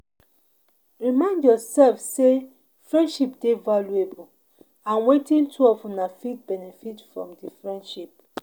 Remind yourself sey friendship dey valuable and wetin two of una fit benefit from di friendship